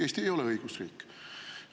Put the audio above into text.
Eesti ei ole õigusriik.